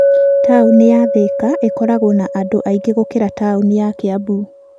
Taũni ya Thika ĩkoragwo na andũ aingĩ gũkĩra taũni ya Kiambu.